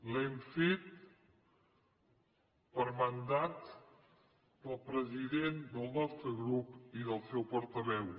l’hem fet per mandat del president del nostre grup i del seu portaveu